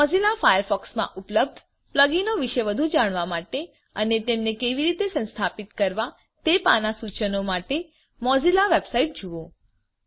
Mozilla ફાયરફોક્સમાં ઉપલબ્ધ પ્લગઈનો વિશે વધુ જાણવા માટે અને તેમને કેવી રીતે સંસ્થાપિત કરવા તે પાના સૂચનો માટે મોઝિલ્લા વેબસાઇટ જુઓ